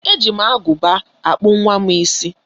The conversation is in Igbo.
E ji m aguba kpụọ nwa m isi.